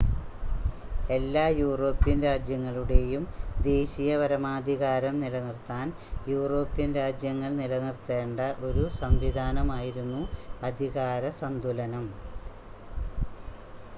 എല്ലാ യൂറോപ്യൻ രാജ്യങ്ങളുടെയും ദേശീയ പരമാധികാരം നിലനിർത്താൻ യൂറോപ്യൻ രാജ്യങ്ങൾ നിലനിർത്തേണ്ട ഒരു സംവിധാനമായിരുന്നു അധികാര സന്തുലനം